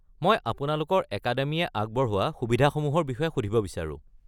মই আপোনালোকৰ একাডেমিয়ে আগবঢ়োৱা সুবিধাসমূহৰ বিষয়ে সুধিব বিচাৰো।